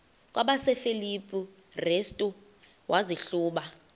kwabasefilipi restu wazihluba